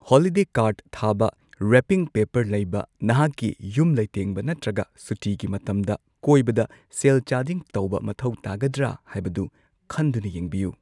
Holiday card ꯊꯥꯕ, wrapping paper ꯂꯩꯕ, ꯅꯍꯥꯛꯀꯤ ꯌꯨꯝ ꯂꯩꯇꯦꯡꯕ ꯅꯠꯇ꯭ꯔꯒ ꯁꯨꯇꯤꯒꯤ ꯃꯇꯝꯗ ꯀꯣꯏꯕꯗ ꯁꯦꯜ ꯆꯥꯗꯤꯡ ꯇꯧꯕ ꯃꯊꯧ ꯇꯥꯒꯗ꯭ꯔ ꯍꯥꯏꯕꯗꯨ ꯈꯟꯗꯨꯅ ꯌꯦꯡꯕꯤꯌꯨ꯫